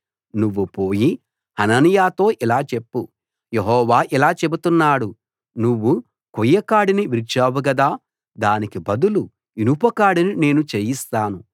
నువ్వు పోయి హనన్యాతో ఇలా చెప్పు యెహోవా ఇలా చెబుతున్నాడు నువ్వు కొయ్య కాడిని విరిచావు గదా దానికి బదులు ఇనుప కాడిని నేను చేయిస్తాను